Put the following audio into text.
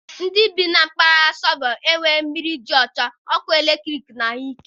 Ndị bi na mpaghara sọbọb ahụ enweghị mmiri dị ọcha, ọkụ eletrik na ahụike.